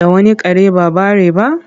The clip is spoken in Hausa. Da wani kare ba bare ba?